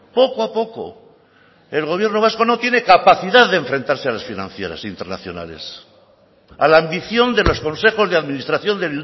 poco a poco el gobierno vasco no tiene capacidad de enfrentarse a las financieras internacionales a la ambición de los consejos de administración de